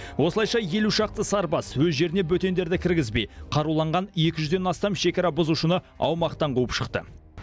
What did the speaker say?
осылайша елу шақты сарбаз өз жеріне бөтендерді кіргізбей қаруланған екі жүзден астам шекара бұзушыны аумақтан қуып шықты